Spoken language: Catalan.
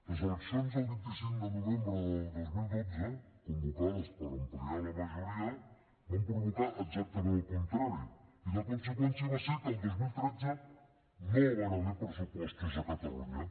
les eleccions del vint cinc de novembre del dos mil dotze convocades per ampliar la majoria van provocar exactament el contrari i la conseqüència va ser que el dos mil tretze no hi van haver pressupostos a catalunya